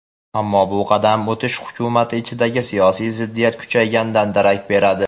ammo bu qadam o‘tish hukumati ichidagi siyosiy ziddiyat kuchayganidan darak beradi.